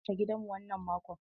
Eh, mun tsaftace gidanmu wannan mako.